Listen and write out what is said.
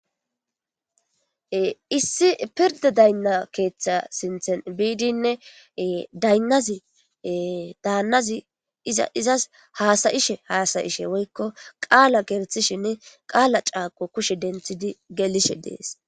issi pirda daynna keeththa sinthen biidinne daynnazi daannazi izaizas haasayishe haasayishe woykko qaala gerthishinne qaala caaqo kushe denthidi gelishe dees